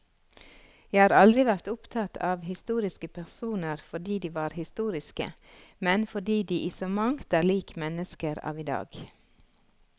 Jeg har aldri vært opptatt av historiske personer fordi de var historiske, men fordi de i så mangt er lik mennesker av i dag.